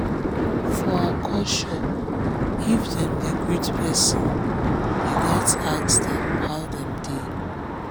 for her cultureif una dey greet pesin you gats ask how dem dey.